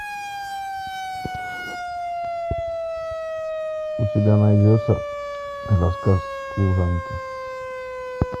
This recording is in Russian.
у тебя найдется рассказ служанки